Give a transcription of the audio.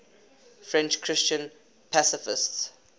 french christian pacifists